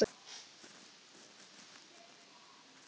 En ballettinn var auðvitað alltaf hennar hjartans mál.